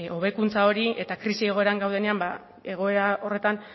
hobekuntza hori eta krisi egoeran gaudenean egoera horretan